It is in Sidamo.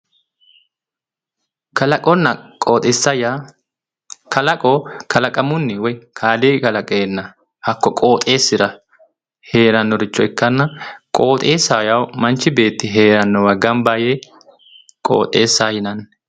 Kalaqonna qooxeessa yaa kalaqo kalaqamuunni woy kaaliiqi kalaqeenna hakko qooxeessira heerannoricho ikkanna, qooxeessaho yaa manchi beeti heerannowa gamba yee qooxeessaho yinanni.